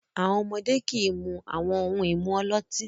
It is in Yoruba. Àwọn ọmọdé kì í mu àwọn ohun-ìmu ọlọ́tí.